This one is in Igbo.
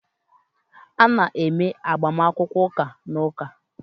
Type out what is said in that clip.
A na-eme agbamakwụkwọ ụka na Ụka